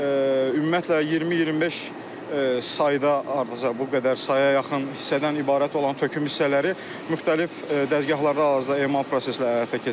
Ümumiyyətlə 20-25 sayda hardasa bu qədər saya yaxın hissədən ibarət olan töküm hissələri müxtəlif dəzgahlarda hal-hazırda emal prosesi ilə həyata keçirilir.